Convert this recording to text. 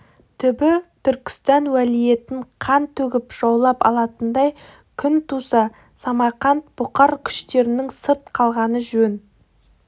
түбі түркістан уәлиетін қан төгіп жаулап алатындай күн туса самарқант бұқар күштерінің сырт қалғаны жөн